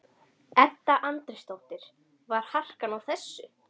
Edda Andrésdóttir: Var harkan á þessu?